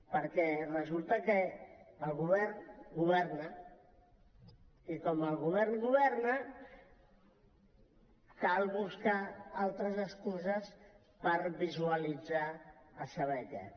perquè resulta que el govern governa i com que el govern governa cal buscar altres excuses per visualitzar a saber què